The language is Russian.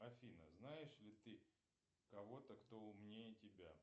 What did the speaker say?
афина знаешь ли ты кого то кто умнее тебя